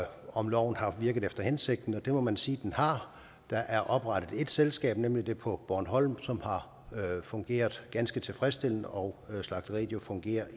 om loven har virket efter hensigten og det må man sige den har der er oprettet et selskab nemlig det på bornholm som har fungeret ganske tilfredsstillende og slagteriet fungerer